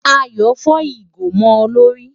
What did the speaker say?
Ayọ̀ fọ́ ìgò mọ́ ọ lórí.